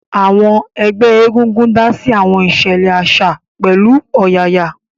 Àwọn ẹgbẹ́ egungun dá sí àwọn ìṣẹ̀lẹ̀ àṣà pẹ̀lú ọ̀yàyà